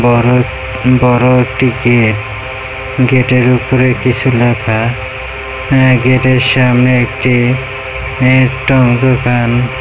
বড়ো বড়ো একটি গেট গেট -এর উপরে কিছু লেখা-আ ।এ গেট -এর সামনে একটি দোকান--